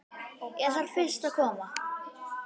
Ég þarf fyrst að koma